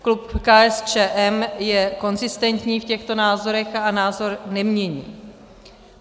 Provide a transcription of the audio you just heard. Klub KSČM je konzistentní v těchto názorech a názor nemění.